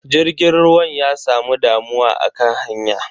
Jirgin ruwan ya samu damuwa akan hanya.